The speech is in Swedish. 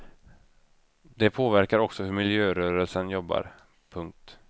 Det påverkar också hur miljörörelsen jobbar. punkt